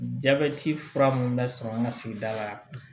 Jabɛti fura mun bɛ sɔrɔ an ka sigida la